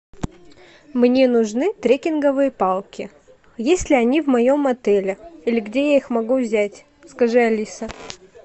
мне нужны трекинговые палки есть ли они в моем отеле или где я их могу взять скажи алиса